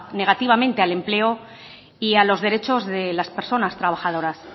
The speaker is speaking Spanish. negativamente al empleo y a los derechos de las personas trabajadoras